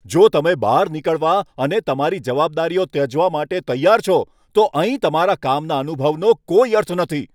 જો તમે બહાર નીકળવા અને તમારી જવાબદારીઓ ત્યજવા માટે તૈયાર હોવ, તો અહીં તમારા કામના અનુભવનો કોઈ અર્થ નથી.